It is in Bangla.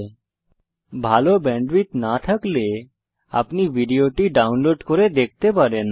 যদি ভাল ব্যান্ডউইডথ না থাকে তাহলে আপনি ভিডিও টি ডাউনলোড করে দেখতে পারেন